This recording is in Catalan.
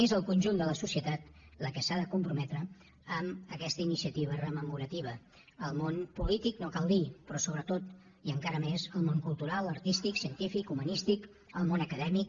és el conjunt de la societat la que s’ha de comprometre amb aquesta iniciativa rememorativa el món polític no cal dir ho però sobretot i encara més el món cultural artístic científic humanístic el món acadèmic